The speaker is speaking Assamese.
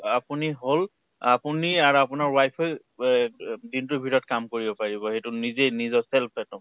আপুনি হʼল, আপুনি আৰু আপোনাৰ wife য়ে ৱে দিনটোৰ ভিতৰত কাম কৰিব পাৰিব । সেইটো নিজেই নিজৰ self একদম